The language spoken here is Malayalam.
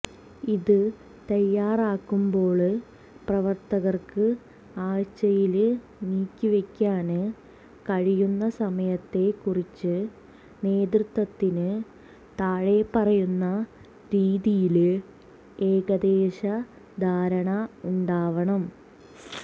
ഇത് തയാറാക്കുമ്പോള് പ്രവര്ത്തകര്ക്ക് ആഴ്ചയില് നീക്കിവെക്കാന് കഴിയുന്ന സമയത്തെ കുറിച്ച് നേതൃത്വത്തിന് താഴെ പറയുന്ന രീതിയില് ഏകദേശ ധാരണ ഉണ്ടാവണം